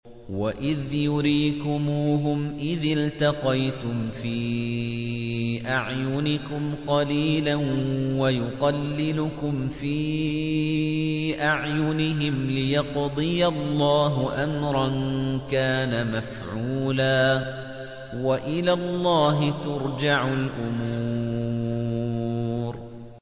وَإِذْ يُرِيكُمُوهُمْ إِذِ الْتَقَيْتُمْ فِي أَعْيُنِكُمْ قَلِيلًا وَيُقَلِّلُكُمْ فِي أَعْيُنِهِمْ لِيَقْضِيَ اللَّهُ أَمْرًا كَانَ مَفْعُولًا ۗ وَإِلَى اللَّهِ تُرْجَعُ الْأُمُورُ